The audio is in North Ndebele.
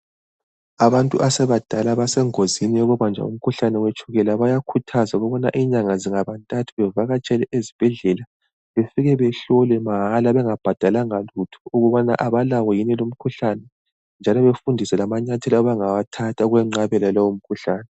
Abantu asebadala basengozini yokubanjwa umkhuhlane wetshukela bayakhuthazwa ukubana inyanga zingaba ntathu bevakatsela ezibhedlela befike behlolwe mahala bengabhadalanga lutho ukubana abalawo yini lumkhuhlane njalo befundiswe amanyathela abangawathatha ukwenqabela lowo mkhuhlane.